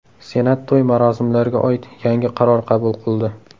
Senat to‘y-marosimlarga oid yangi qaror qabul qildi.